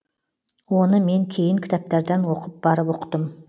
оны мен кейін кітаптардан оқып барып ұқтым